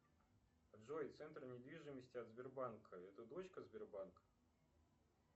джой центр недвижимости от сбербанка это дочка сбербанка